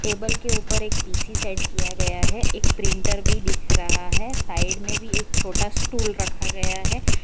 Table के ऊपर एक पी_सी सेट किया गया है एक प्रिंटर भी दिख रहा है साइड में भी एक छोटा स्टूल रखा गया है।